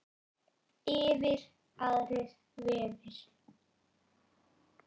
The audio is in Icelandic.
Yfir aðrir vefir.